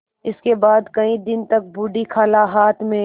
इसके बाद कई दिन तक बूढ़ी खाला हाथ में